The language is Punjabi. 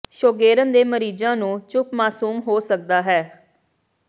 ਸ਼ੋਗੇਰਨ ਦੇ ਮਰੀਜ਼ਾਂ ਨੂੰ ਚੁੱਪ ਮਾਸੂਮ ਹੋ ਸਕਦਾ ਹੈ